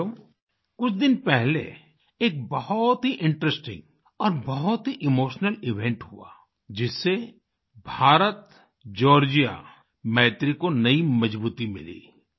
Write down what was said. साथियो कुछ दिन पहले एक बहुत ही इंटरेस्टिंग और बहुत ही इमोशनल इवेंट हुआ जिससे भारतजॉर्जिया मैत्री को नई मजबूती मिली